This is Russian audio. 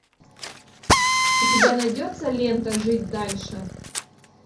у тебя найдется лента жить дальше